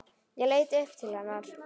Ég leit upp til hennar.